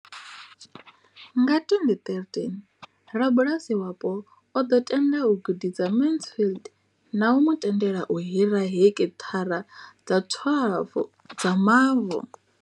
Nga 2013, rabulasi wapo o ḓo tenda u gudisa Mansfield na u mu tendela u hira heki thara dza 12 dza mavu.